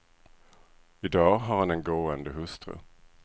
I dag har han en gående hustru.